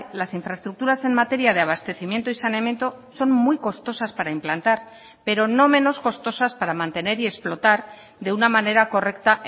las infraestructuras en materia de abastecimiento y saneamiento son muy costosas para implantar pero no menos costosas para mantener y explotar de una manera correcta